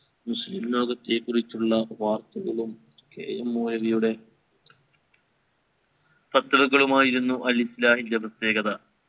മുസ്ലിം ലോകത്തെ കുറിച്ചുള്ള വാർത്തകളും K. M മൗലവിയുടെ പത്രങ്ങളുമായിരുന്നു അൽ ഇസ്ലാഹിൻറെ പ്രത്യേകത